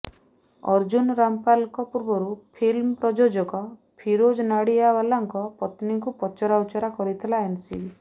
ଅର୍ଜୁନ ରାମପାଲଙ୍କ ପୂର୍ବରୁ ଫିଲ୍ମ ପ୍ରଯୋଜକ ଫିରୋଜ ନାଡିଆଓ୍ବାଲାଙ୍କ ପତ୍ନୀଙ୍କୁ ପଚରାଉଚରା କରିଥିଲା ଏନସିବି